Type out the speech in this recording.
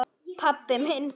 pabbi minn